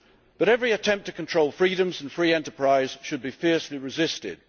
But every attempt to control freedoms and free enterprise should be fiercely resisted.